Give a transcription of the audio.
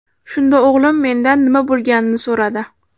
Shunda o‘g‘lim mendan nima bo‘lganini so‘radi.